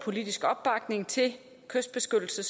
og æstetisk kystbeskyttelse